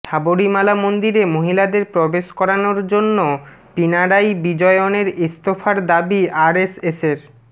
সাবরীমালা মন্দিরে মহিলাদের প্রবেশ করানোর জন্য পিনারাই বিজয়নের ইস্তফার দাবি আরএসএসের